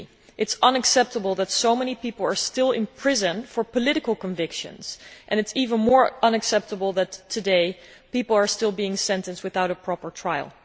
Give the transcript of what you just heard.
It is unacceptable that so many people are still in prison for their political convictions, and it is even more unacceptable that today people are still being sentenced without a proper trial.